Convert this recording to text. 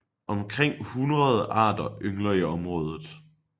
Omkring hundrede arter yngler i området